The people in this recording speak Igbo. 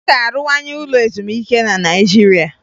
A ga-arụwanye ụlọ ezumike na naịjirịa